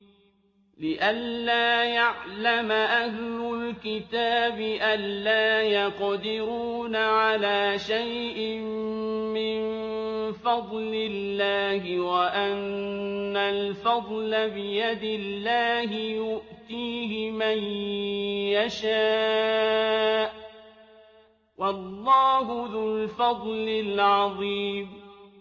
لِّئَلَّا يَعْلَمَ أَهْلُ الْكِتَابِ أَلَّا يَقْدِرُونَ عَلَىٰ شَيْءٍ مِّن فَضْلِ اللَّهِ ۙ وَأَنَّ الْفَضْلَ بِيَدِ اللَّهِ يُؤْتِيهِ مَن يَشَاءُ ۚ وَاللَّهُ ذُو الْفَضْلِ الْعَظِيمِ